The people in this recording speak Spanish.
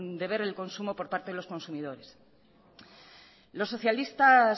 de ver el consumo por parte de los consumidores los socialistas